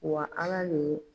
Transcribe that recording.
Wa ala de ye